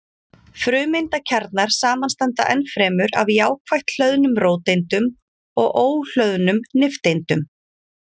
Frumeindakjarnar samanstanda ennfremur af jákvætt hlöðnum róteindum og óhlöðnum nifteindum.